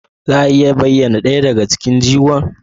Za a iya bayyana ɗaya daga cikin jigon?